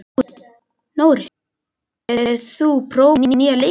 Nóri, hefur þú prófað nýja leikinn?